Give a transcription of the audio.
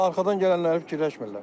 Arxadan gələnləri fikirləşmirlər.